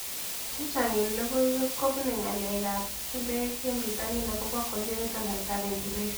Chechang' eng' lokoiwek ko pune ng'alek ab chumbek eng' pitonin akopo congenital hyperventilation